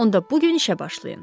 Onda bu gün işə başlayın.